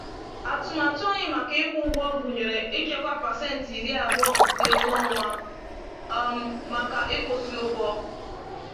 Atụmatụ anyị maka ịkwụ ụgwọ gụnyere ịchekwa pasentị iri abụọ nke ego ọnwa um maka ịkwụsị ụgwọ.